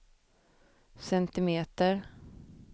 centimeter